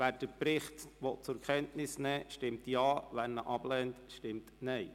Wer den Bericht zur Kenntnis nehmen will, stimmt Ja, wer die Kenntnisnahme ablehnt, stimmt Nein.